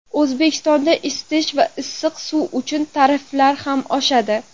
O‘zbekistonda isitish va issiq suv uchun tariflar ham oshadi.